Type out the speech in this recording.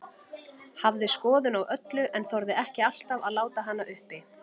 Hafði skoðun á öllu, en þorði ekki alltaf að láta hana uppi.